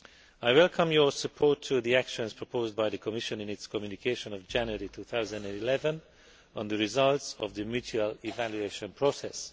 I welcome your support for the actions proposed by the Commission in its communication of January 2011 on the results of the mutual evaluation process.